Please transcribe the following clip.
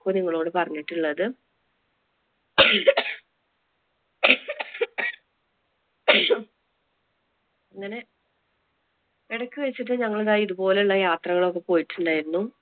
ഇപ്പൊ നിങ്ങളോടു പറഞ്ഞിട്ടുള്ളത് അങ്ങനെ ഇടയ്ക്ക് വെച്ചിട്ട് ഞങ്ങൾ ദാ ഇതുപോലുള്ള യാത്രകൾ ഒക്കെ പോയിട്ടുണ്ടായിരുന്നു.